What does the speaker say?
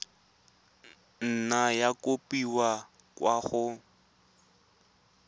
nna ya kopiwa kwa go